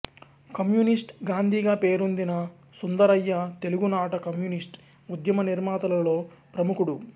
communist గాంధీగా పేరొందిన సుందరయ్య తెలుగునాట కమ్యూనిస్టు ఉద్యమ నిర్మాతలలో ప్రముఖుడు